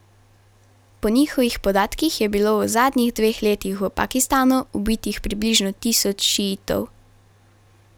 Po njihovih podatkih je bilo v zadnjih dveh letih v Pakistanu ubitih približno tisoč šiitov.